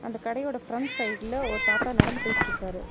அந்த கடையோட ஃபிரண்ட் சைடுல ஒரு தாத்தா நடந்து போயிட்டிருக்காரு.